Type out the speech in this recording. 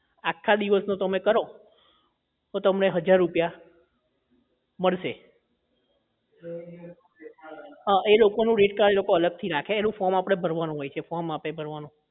આખા દિવસનો તમે કરો તો તમને હજાર રૂપિયા મળશે હા એ લોકો નું rate card એ લોકો અલગ થી રાખે એનું form આપડે અલગ થી ભરવાનું હોય છે જે form આપે એ ભરવાનું